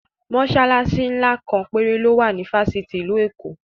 Mọsalasi ńlá kan péré ló wà ní fásitì ìlú Èkó